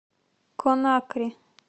конакри